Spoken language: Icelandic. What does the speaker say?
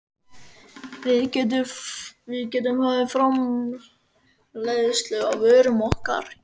Við gætum hafið framleiðslu á vörum okkar í